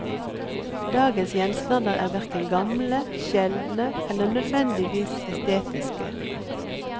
Dagens gjenstander er verken gamle, sjeldne eller nødvendigvis estetiske.